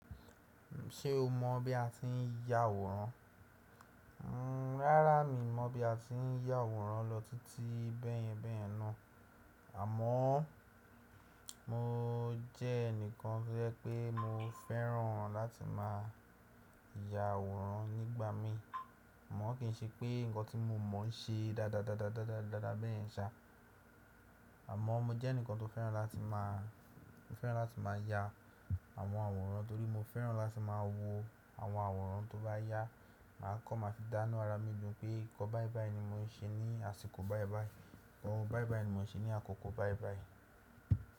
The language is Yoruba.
Ṣé o mọ̀ bí a ti ń ya àwòrán? Ǹ rárá mi mọ̀ bí a ti ń ya àwòrán lọ títí bẹ́ẹ̀yẹn bẹ́ẹ̀ náà. Àmọ́ mo jẹ́ ẹnìkan tí ẹ pé mo fẹ́ràn láti máa ya àwòrán nígbà mí. Mọ̀ kín ṣe pé nǹkan tí mo mọ̀ n ṣe dáadáa dáadáa dáadáa bẹ́ẹ̀ yen ṣá. Àmọ́ mo jẹ́ ẹnìkan tó fẹ́ràn láti máa, fẹ́ràn láti máa ya àwọn àwòrán torí mo fẹ́ràn láti máa wo àwọn àwòrán tó bá yá. Màá kọ̀ máa fi dánu ara mi dùn pé nǹkan báìbàí ni mo n ṣe ní àsìkò báìbàí. Oun báìbàí ni mo n ṣe ní àkókò báìbàí.